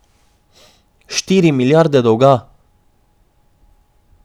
Štiri milijarde dolga!